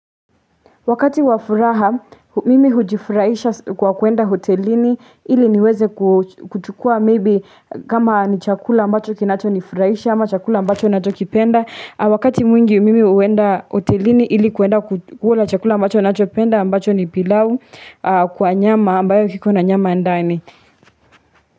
Wakati wa furaha, mimi hujifurahisha kwa kwenda hotelini, ili niweze kuchukua maybe kama ni chakula ambacho kinachonifurahisha, ama chakula ambacho nachokipenda. Wakati mwingi, mimi huenda hotelini, ili kuenda kukula chakula ambacho napenda, ambacho ni pilau, kwa nyama, ambacho kiko na nyama ndani.